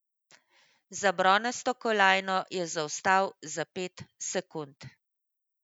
Za bronasto kolajno je zaostal za pet sekund.